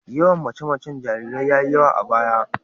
Yawan mace-macen jarirai ya yi yawa a baya.